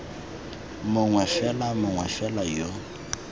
mongwe fela mongwe fela yo